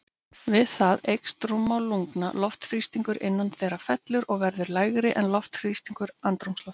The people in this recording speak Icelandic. Við það eykst rúmmál lungna, loftþrýstingur innan þeirra fellur og verður lægri en loftþrýstingur andrúmsloftsins.